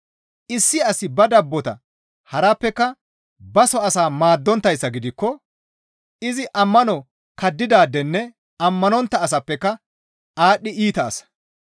Issi asi ba dabbota harappeka baso asaa maaddonttayssa gidikko izi ammano kaddidaadenne ammanontta asappeka aadhdhi iita asa.